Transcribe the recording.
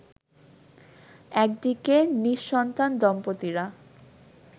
একদিকে নি:সন্তান দম্পতিরা